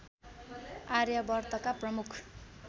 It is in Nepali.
आर्यावर्तका प्रमुख